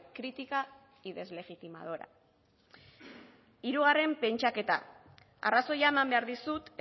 crítica y deslegitimadora hirugarren pentsaketa arrazoia eman behar dizut